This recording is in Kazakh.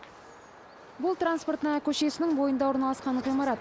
бұл транспортная көшесінің бойында орналасқан ғимарат